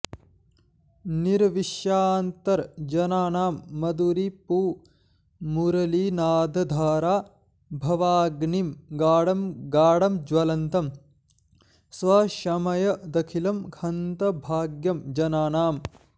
निर्विश्यान्तर्जनानां मधुरिपुमुरलीनादधारा भवाग्निं गाढं गाढं ज्वलन्तं स्वशमयदखिलं हन्त भाग्यं जनानाम्